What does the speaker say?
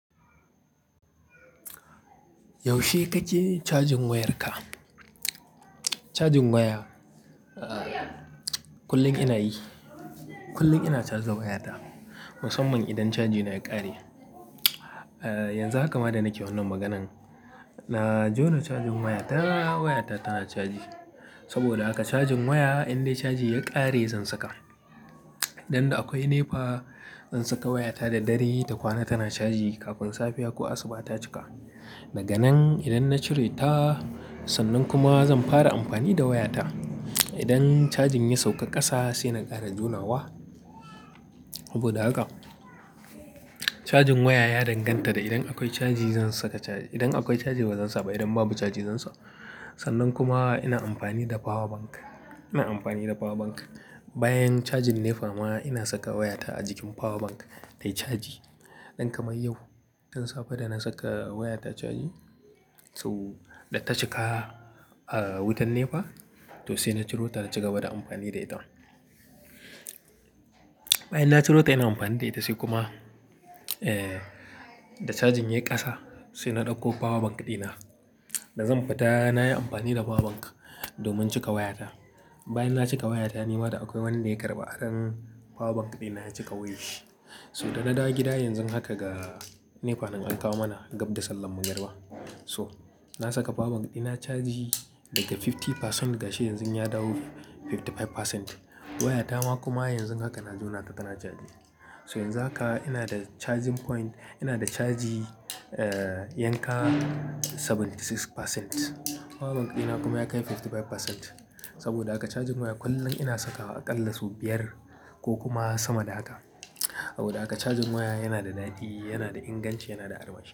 Yaushe kake cajin wayarka? Yaushe kake cajin wayarka? Cajin waya, uh, kullum ina yi. Uh, yanzu haka ma da nake wannan maganan na jona cajin wayata, wayata tana caji. Saboda haka cajin waya indai cajin ya ƙare zan saka. Idan da akwai NEPA, zan saka wayata da dare ta kwana tana caji, kafin safiya ko asuba ta cika. Daga nan idan na cire ta, sannan kuma zan fara amfani da wayata. Idan cajin ya sauka ƙasa sai na ƙara jonawa. Saboda haka cajin waya ya danganta da idan akwai caji zan saka caji. Idan akwai caji bazan saba, idan babu caji zan so. Sannan kuma ina amfani da power bank. Ina amfani da power bank. Bayan cajin NEPA ma ina saka wayata a jikin power bank tayi caji. Don kamar yau, tun safe da na saka wayata caji, so da ta cika, uh, wutan NEPA toh sai na ciro ta na cigaba da amfani da ita. Bayan na ciro ta ina amfani da ita sai kuma, eh, da cajin ya yi ƙasa sai na ɗauko power bank ɗina. Da zan fita nayi amfani da power bank domin cika wayata. Bayan na cika wayata ni mata akwai wanda ya karɓa aron power bank ɗina ya cika wayar shi. So da na dawo gida yanzu haka ga NEPA nan an kawo mana gab da sallar magarba. So na saka power bank dina caji daga kashi hamsin cikin ɗari ga shi yanzu ya dawo kashi hamsin da biyar cikin ɗari. Wayata ma kuma yanzu haka na jona ta tana caji. So yanzu haka ina da charging point, ina da caji, yanka kashi saba'in da shida cikin ɗari. Power bank ɗina kuma ya kai kashi hamsin da biyar cikin ɗari. Saboda haka cajin waya kullum ina sakawa a ƙallasu biyar ko kuma sama da haka. Saboda haka cajin waya yana da dadi, yana da inganci, yana da armashi.